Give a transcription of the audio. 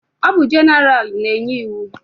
Ọ bụ jeneralụ na-enye iwu?